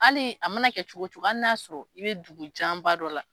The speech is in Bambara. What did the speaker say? Hali a mana kɛ cogo cogo hali n'a ya sɔrɔ i bɛ dugu janba dɔ la.